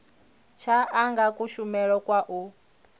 tsha anga kushumele kwa u